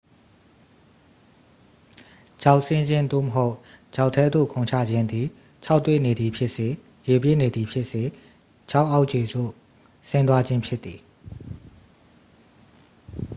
ချောက်ဆင်းခြင်း သို့မဟုတ် ချောက်ထဲသို့ခုန်ချခြင်း သည် ခြောက်သွေ့နေသည်ဖြစ်စေ ရေပြည့်နေသည်ဖြစ်စေ ချောက်အောက်ခြေသို့ ဆင်းသွားခြင်းဖြစ်သည်။